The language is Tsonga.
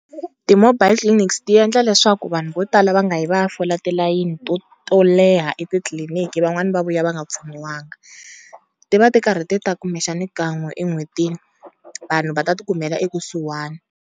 Ti-mobile clinics ti endla leswaku vanhu vo tala va nga yi va ya fola tilayini to to leha etitliliniki, van'wana va vuya va nga pfuniwanga. Ti va ti karhi ti ta kumbexani kan'we en'hwetini vanhu va ta ti kumela ekusuhana.